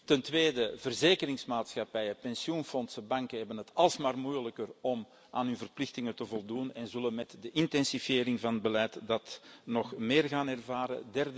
Ten tweede verzekeringsmaatschappijen, pensioenfondsen en banken hebben het alsmaar moeilijker om aan hun verplichtingen te voldoen en zullen dat met de intensivering van beleid nog meer gaan ervaren.